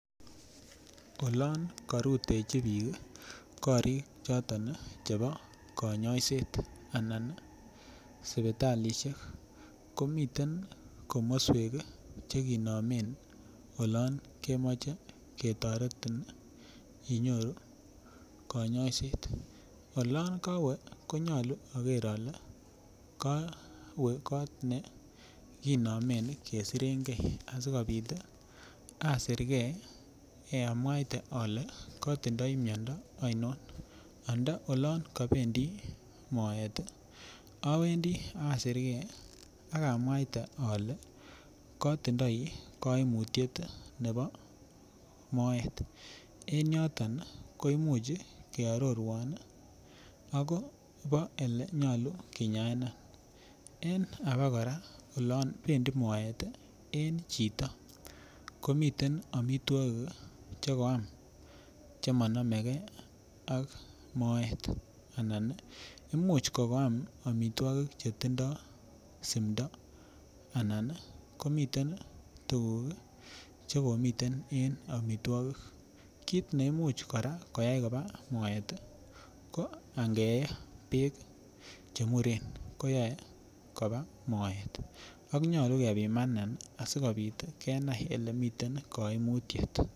Olon korutechi biik korik choton chebo konyoiset anan sipitalishek ko miten komoswek chekinomen olon kemoche ketoretin inyoru konyoiset olon kawek konyolu aker ale kawe koot ne kinomen kesirengei asikobit asergei amuaite ale katindoi miondo aino anda olon kabendi moet awendi asergei akamwaite ale kotindoi kaimutiet nebo moet en yoton koimuch kearorwan ak kobo ole nyolu kinyaena en age kora olon bendi moet en chito komiten omitwokik chekoam chemanamegei ak moet anan imuch kokoam omitwokik chetindoi simdo anan komiten tuguk chekimiten en omitwokik kit neimuch koyai kora koba moet ko angee beek chemuren koyoei koba moet ak nyolu kebimanin asikobit kenai olemiten koimutiet.